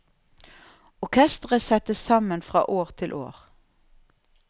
Orkestret settes sammen fra år til år.